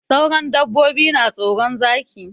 Sauran dabbobi na tsoron Zaki.